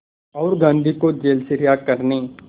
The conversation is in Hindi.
और गांधी को जेल से रिहा करने